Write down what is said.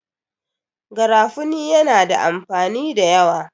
garafuni yana da amfani da yawa